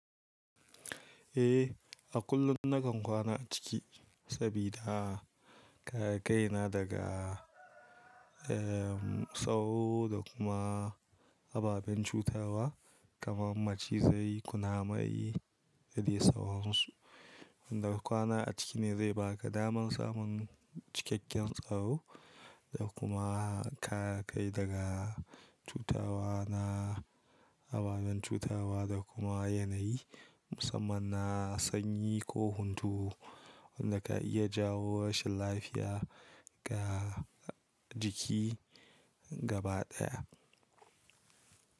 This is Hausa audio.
Eh, a kullum nakan kwana a ciki. Sabida kare kaina na daga, eh, tsaro da kuma ababen cutarwa, kamar macizai, kunamai da dai sauransu. Wanda kwana a ciki ne zai baka damar samun cikakken tsaro da kuma kare kai daga cutawa na ababen cutarwa da kuma yanayi musamman na sanyi ko hunturu wanda ka iya jawo rashin lafiya ga jiki gaba ɗaya.